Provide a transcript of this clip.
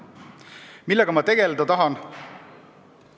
Millega ma tegeleda tahan?